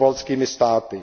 s pobaltskými státy.